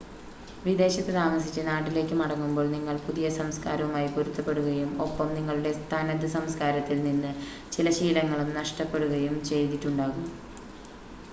വിദേശത്ത് താമസിച്ച് നാട്ടിലേക്ക് മടങ്ങുമ്പോൾ നിങ്ങൾ പുതിയ സംസ്കാരവുമായി പൊരുത്തപ്പെടുകയും ഒപ്പം നിങ്ങളുടെ തനത് സംസ്കാരത്തിൽ നിന്ന് ചില ശീലങ്ങളും നഷ്‌ടപ്പെടുകയും ചെയ്തിട്ടുണ്ടാകും